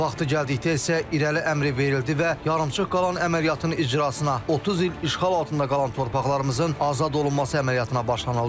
Vaxtı gəldikdə isə irəli əmri verildi və yarımçıq qalan əməliyyatın icrasına, 30 il işğal altında qalan torpaqlarımızın azad olunması əməliyyatına başlanıldı.